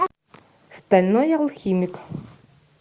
стальной алхимик